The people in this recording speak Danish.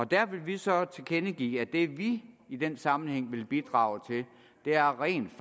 der vil vi så tilkendegive at det vi i den sammenhæng vil bidrage til er rent